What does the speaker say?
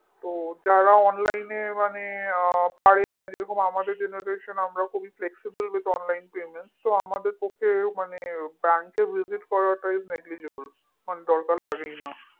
যারা online এ মানে পাড়ে যেমন আমাদের generation আমরা খুবই flexiblewithonlinepayment আমাদের পক্ষে bank এ visit করাটাই negligible কারণ দরকার লাগেই না